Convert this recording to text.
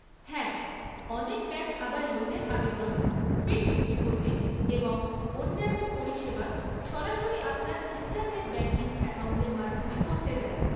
হ্যাঁ, অনেক ব্যাংক আবার লোনের আবেদন, ফিক্সড ডিপোজিট, এবং অন্যান্য পরিষেবা সরাসরি আপনার ইন্টারনেট ব্যাংকিং অ্যাকাউন্টের মাধ্যমে করতে দেয়।